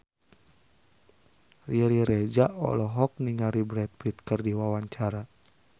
Riri Reza olohok ningali Brad Pitt keur diwawancara